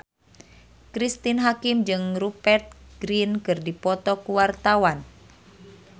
Cristine Hakim jeung Rupert Grin keur dipoto ku wartawan